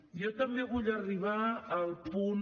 jo també vull arribar al punt